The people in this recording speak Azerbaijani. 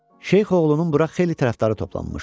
Şeyx oğlunun bura xeyli tərəfdarı toplanmışdı.